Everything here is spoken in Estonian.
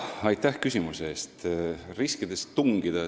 Aitäh küsimuse eest!